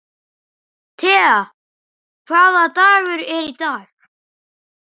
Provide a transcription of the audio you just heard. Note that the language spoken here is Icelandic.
Tea, hvaða dagur er í dag?